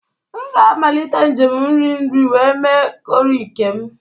M ga-amalite njem nri nri wee mee corrie nke m.